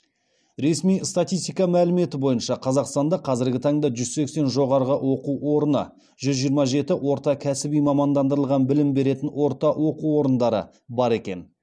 ресми статистика мәліметі бойынша қазақстанда қазіргі таңда жүз сексен жоғары оқу орны жүз жиырма жеті орта кәсіби мамандырылған білім беретін орта оқу орындары бар екен